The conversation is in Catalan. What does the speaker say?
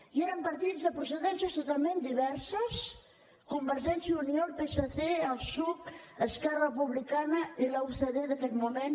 i eren partits de procedències totalment diverses convergència i unió el psc el psuc esquerra republicana i la ucd d’aquell moment